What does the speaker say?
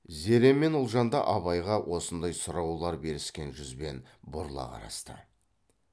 зере мен ұлжан да абайға осындай сұраулар беріскен жүзбен бұрыла қарасты